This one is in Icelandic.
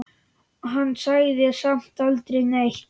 Hann sagði samt aldrei neitt.